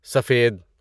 سفید